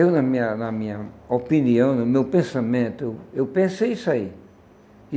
Eu, na minha na minha opinião, no meu pensamento, eu eu pensei isso aí.